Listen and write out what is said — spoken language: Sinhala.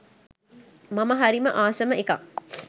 මම හරිම ආසම එකක්.